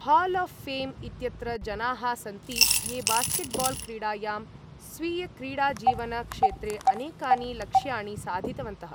Hall of fame इत्यत्र जनाः सन्ति ये बास्केटबाल् क्रीडायां स्वीयक्रीडाजीवन क्षेत्रे अनेकानि लक्ष्याणि साधितवन्तः।